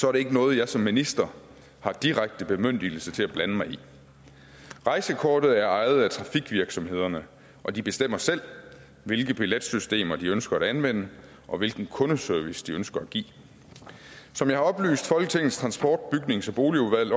er det ikke noget jeg som minister har direkte bemyndigelse til at blande mig i rejsekortet er ejet af trafikvirksomhederne og de bestemmer selv hvilke billetsystemer de ønsker at anvende og hvilken kundeservice de ønsker at give som jeg har oplyst folketingets transport bygnings og boligudvalg i